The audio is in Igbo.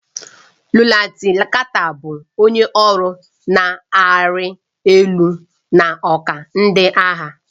Lutenanti Carter bụ onye ọrụ na-arị elu n'ọkwa ndị agha.